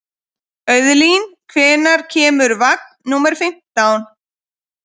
Auðlín, hvenær kemur vagn númer fimmtán?